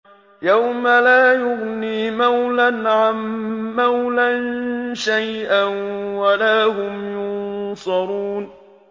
يَوْمَ لَا يُغْنِي مَوْلًى عَن مَّوْلًى شَيْئًا وَلَا هُمْ يُنصَرُونَ